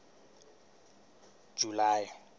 july